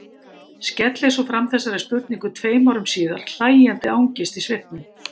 Skellir svo fram þessari spurningu tveim árum síðar, hlæjandi angist í svipnum.